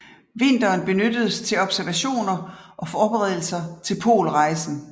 Vinteren benyttedes til observationer og forberedelser til polrejsen